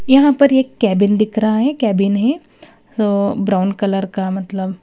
यहां पर एक केबिन दिख रहा है केबिन है सो ब्राउन कलर का मतलब--